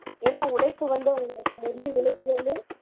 ஏன்னா உழைப்பு வந்து உங்களுக்கு உழைப்பு வந்து